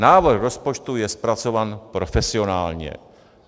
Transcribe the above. Návrh rozpočtu je zpracován profesionálně.